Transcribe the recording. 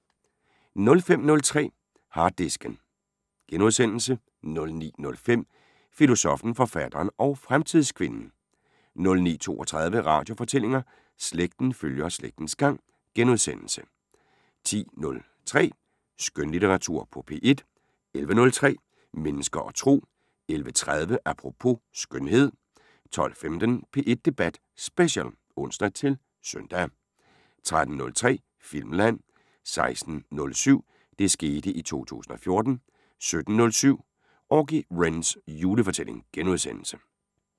05:03: Harddisken * 09:05: Filosoffen, forfatteren og fremtidskvinden 09:32: Radiofortællinger: Slægten følger slægtens gang * 10:03: Skønlitteratur på P1 11:03: Mennesker og Tro 11:30: Apropos - skønhed 12:15: P1 Debat Special (ons-søn) 13:03: Filmland 16:07: Det skete i 2014 17:07: Auggie Wrens julefortælling *